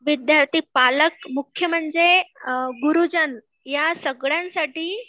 विद्यार्थी पालक, मुख्य म्हणजे गुरुजन, या सगळ्यांसाठी